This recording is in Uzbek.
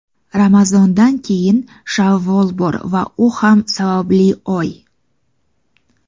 Ramazondan keyin Shavvol bor va u ham savobli oy.